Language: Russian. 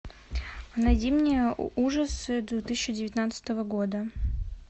найди мне ужасы две тысячи девятнадцатого года